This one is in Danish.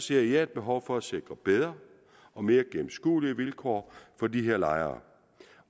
ser jeg et behov for at sikre bedre og mere gennemskuelige vilkår for de her lejere